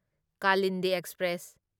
Kalindi express